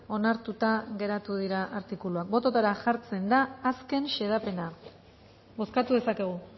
onartuta geratu dira artikuluak bototara jartzen da azken xedapena bozkatu dezakegu